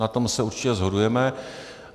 Na tom se určitě shodujeme.